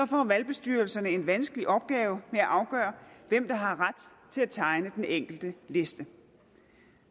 får valgbestyrelserne en vanskelig opgave med at afgøre hvem der har ret til at tegne den enkelte liste